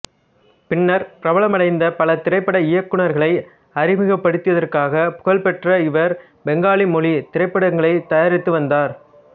பின்னர் பிரபலமடைந்த பல திரைப்பட இயக்குனர்களை அறிமுகப்படுத்தியதற்காக புகழ்பெற்ற இவர் பெங்காலி மொழி திரைப்படங்களை தயாரித்து வந்தார்